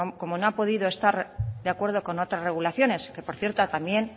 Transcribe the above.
como ha podido estar de acuerdo con otra regulaciones que por cierto también